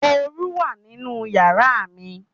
Oru wà nínú yàrá mi.